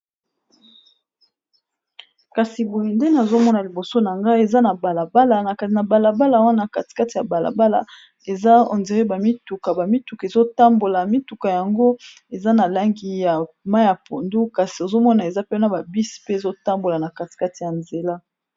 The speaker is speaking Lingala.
Kasi boye ndenge nazomona liboso na ngai eza na balabala na kai na balabala wana katikate ya balabala eza on dirait bamituka bamituka ezotambola mituka yango eza na langi ya ma ya pondu kasi ozomona eza pena babisi pe ezotambola na katikate ya nzela